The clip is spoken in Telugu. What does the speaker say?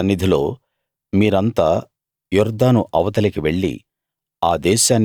యెహోవా సన్నిధిలో మీరంతా యొర్దాను అవతలికి వెళ్ళి